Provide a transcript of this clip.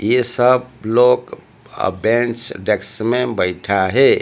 ये सब लोग अ बेंच डैक्स में बैठा है।